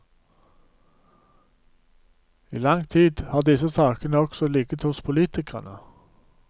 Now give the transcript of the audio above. I lang tid har disse sakene også ligget hos politikerne.